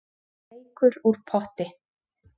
Reykur úr potti